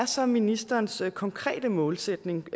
så er ministerens konkrete målsætning